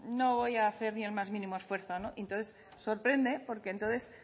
no voy a hacer ni el más mínimo esfuerzo y entonces sorprende porque entonces